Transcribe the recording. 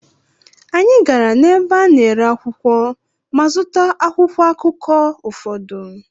Anyị gara n’ebe a na-ere akwụkwọ ma zụta akwụkwọ akụkọ ụfọdụ.